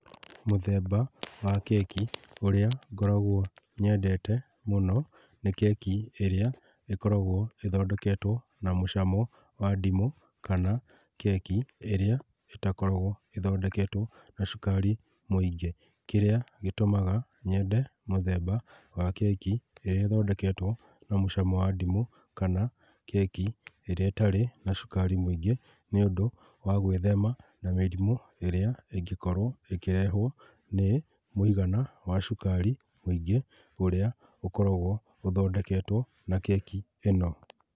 Mũthemba wa keki ũrĩa ngoragwo nyendete mũno nĩ keki ĩrĩa ĩkoragwo ĩthondeketwo na mũcamo wa ndimũ kana keki ĩrĩa ĩtakoragwo ĩthondeketwo na cukari mũingĩ. Kĩrĩa gĩtũmaga nyende mũthemba wa keki ĩrĩa ĩthondeketwo na mũcamo wa ndimũ kana keki ĩrĩa ĩtarĩ na cukari mũingĩ, nĩ ũndũ wa gwĩthema na mĩrimũ ĩrĩa ĩngĩkorwo ĩkĩrehwo nĩ mũigana wa cukari mũingĩ ũrĩa ũkoragwo ũthondeketwo na keki ĩno.